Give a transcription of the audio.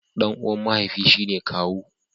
Dan uwa mahaifi shi ne kawu.